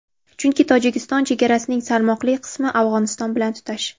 Chunki Tojikiston chegarasining salmoqli qismi Afg‘oniston bilan tutash.